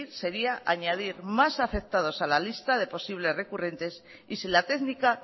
sería añadir más afectados a la lista de posibles recurrentes y si la técnica